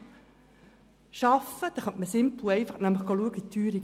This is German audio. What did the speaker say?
Mit dem LIK könnte man einfach nachsehen, wie hoch die Teuerung ist.